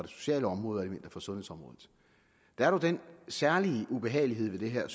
sociale område og sundhedsområdet der er dog den særlige ubehagelighed ved det her